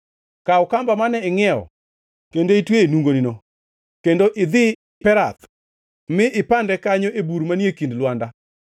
“Kaw kamba mane ingʼiewo kendo itweyo e nungoni, kendo idhi Perath mi ipande kanyo e bur manie kind lwanda.”